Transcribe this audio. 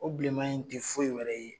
O bilenman in tɛ foyi wɛrɛ ye